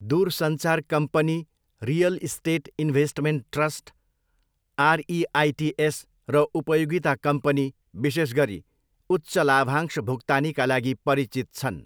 दुरसञ्चार company, real estate investment trust, REITs, र उपयोगिता company, विशेष गरी, उच्च लाभांश भुक्तानीका लागि परिचित छन्।